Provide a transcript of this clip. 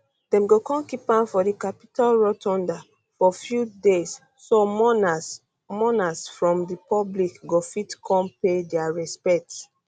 dem go kon keep am for di capitol rotunda for few days so mourners mourners from di public go fit come pay dia respects